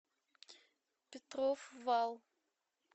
петров вал